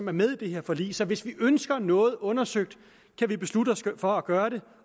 er med i det her forlig så hvis vi ønsker noget undersøgt kan vi beslutte os for at gøre det